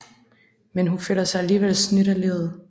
Men hun føler sig alligevel snydt af livet